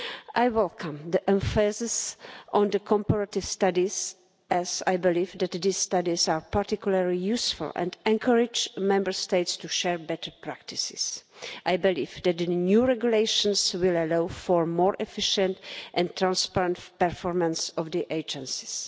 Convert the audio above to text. I welcome the emphasis on comparative studies, as I believe that these studies are particularly useful and encourage Member States to share better practices. I believe that the new regulations will allow for the more efficient and transparent performance of the agencies.